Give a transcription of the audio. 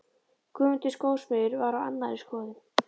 Guðmundur skósmiður var á annarri skoðun.